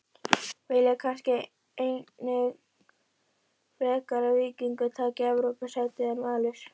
Vilja kannski einnig frekar að Víkingur taki Evrópusætið en Valur?